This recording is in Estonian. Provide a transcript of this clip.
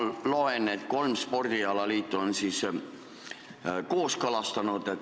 Ma loen paberilt, et kolm spordialaliitu on eelnõu kooskõlastanud.